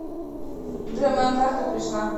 джой моя карта пришла